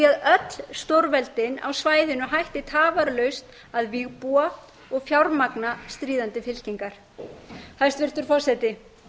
öll stórveldin á svæðinu hætti tafarlaust að vígbúa og fjármagna stríðandi fylkingar hæstvirtur forseti